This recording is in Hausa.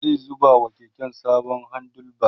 zai zuba wa keken sabon handle bar